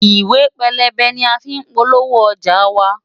Ìwé pélébé ni a fí ń polówó ọjà wa.